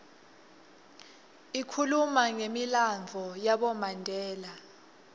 ikhuluma numilandvo yabomandela